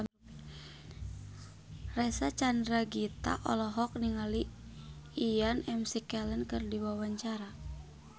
Reysa Chandragitta olohok ningali Ian McKellen keur diwawancara